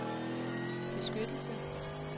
beskyttelse